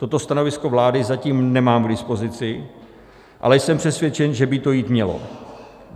Toto stanovisko vlády zatím nemám k dispozici, ale jsem přesvědčen, že by to jít mělo.